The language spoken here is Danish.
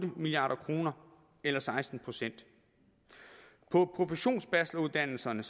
milliard kroner eller seksten procent på professionsbacheloruddannelserne